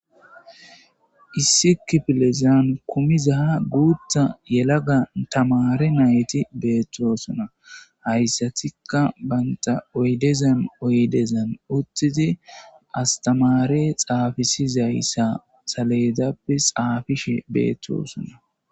issi kifilezan kumizaha guutha yelaga tamare nayti beettosona hayssatikka baynta oydezan oydezan uttidi astamare xaafisizayssa saleedappe xaafishe beettosona.